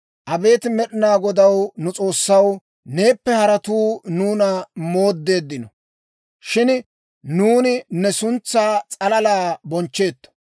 Abeet Med'inaa Godaw, nu S'oossaw, neeppe haratuu nuuna mooddeeddino; Shin nuuni ne suntsaa s'alalaa bonchcheetto.